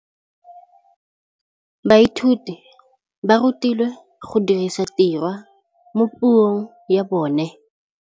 Baithuti ba rutilwe go dirisa tirwa mo puong ya bone.